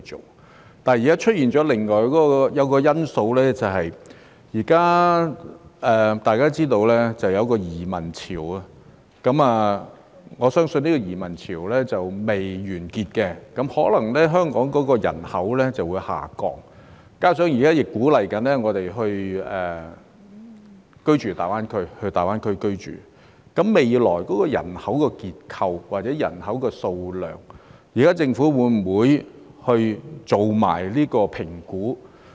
問題是現在出現另外一個因素，便是大家也知道，現在出現移民潮，我相信這個移民潮尚未完結，香港人口可能會下降，加上現在亦鼓勵市民前往大灣區居住，對於未來人口結構或人口數量，政府會否一併進行評估？